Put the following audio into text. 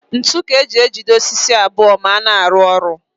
Ntu ka e ji ejide osisi abụọ ma a na-arụ ụlọ